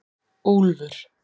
Úlfur